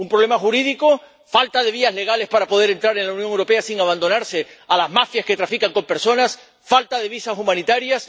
Un problema jurídico, falta de vías legales para poder entrar en la Unión Europea sin abandonarse a las mafias que trafican con personas, falta de visados humanitarios.